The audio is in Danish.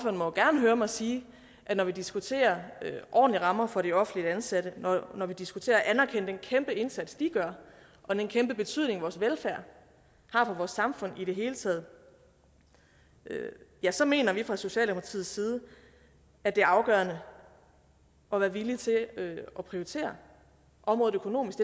må gerne høre mig sige at når vi diskuterer ordentlige rammer for de offentligt ansatte når vi diskuterer at anerkende den kæmpe indsats de gør og den kæmpe betydning vores velfærd har for vores samfund i det hele taget ja så mener vi fra socialdemokratiets side at det er afgørende at være villig til at prioritere området økonomisk